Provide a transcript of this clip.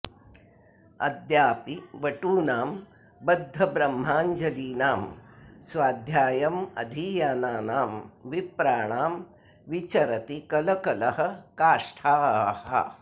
अद्यापि बटूनां बद्धब्रह्माञ्जलीनां स्वाध्यायमधीयानानां विप्राणां विचरति कलकलः काष्ठाः